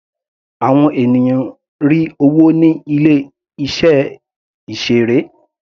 Àwọn ènìyàn rí owó ní ilé iṣẹ́ ìseré.